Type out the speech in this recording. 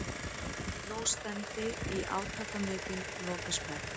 Nú stefndi í átakamikinn lokasprett.